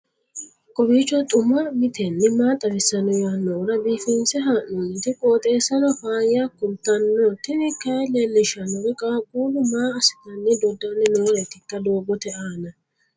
kowiicho xuma mtini maa xawissanno yaannohura biifinse haa'noonniti qooxeessano faayya kultanno tini kayi leellishshannori qaaqullu maa asssitanni doddanni nooreetikka doogote aana